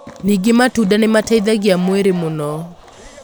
Ningĩ matunda nĩ mateithagĩa mwĩrĩ mũno.